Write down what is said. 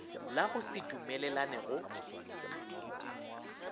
la go se dumelelane go